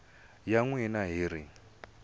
ya n wina hi ri